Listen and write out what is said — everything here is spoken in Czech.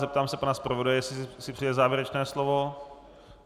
Zeptám se pana zpravodaje, jestli si přeje závěrečné slovo.